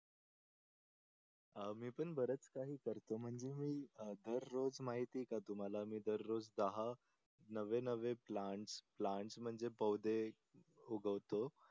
अं मी पण बरेच काही करतो म्हणजे मी दररोज महिते का तुम्हाला दररोज दहा नवे नवे प्लांट्स म्हणजे पौधे उगवतो.